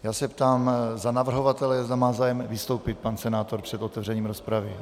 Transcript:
Já se ptám za navrhovatele - zda má zájem vystoupit pan senátor před otevřením rozpravy?